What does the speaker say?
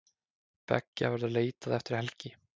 Beggja verður leitað eftir helgi.